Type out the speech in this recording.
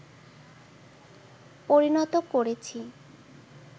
পরিণত করেছি